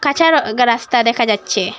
কাঁচা গ রাস্তা দেখা যাচ্ছে।